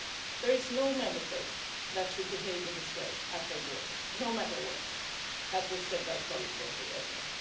There is no Member State that should behave in this way at their borders, no matter where, as was said by colleagues earlier.